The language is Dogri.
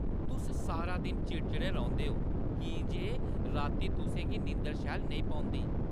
तुस सारा दिन चिड़चिड़े रौंह्‌दे ओ की जे रातीं तुसें गी नींदर शैल नेईं पौंदी।